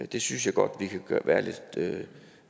det synes jeg godt vi kan være lidt